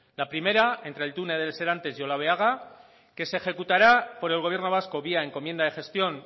la primera entre el túnel del serantes y olabeaga que se ejecutará por el gobierno vasco vía encomienda de gestión